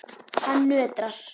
Hann nötrar.